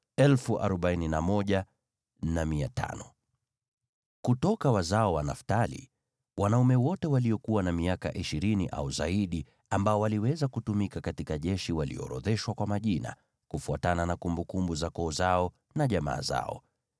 Kutoka wazao wa Naftali: Wanaume wote waliokuwa na miaka ishirini au zaidi ambao waliweza kutumika katika jeshi waliorodheshwa kwa majina, kufuatana na kumbukumbu za koo zao na jamaa zao.